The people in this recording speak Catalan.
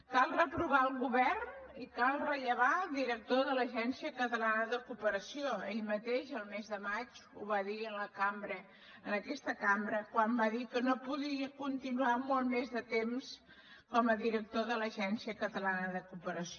cal reprovar el govern i cal rellevar el director de l’agència catalana de cooperació ell mateix el mes de maig ho va dir en aquesta cambra quan va dir que no podria continuar molt més temps com a director de l’agència catalana de cooperació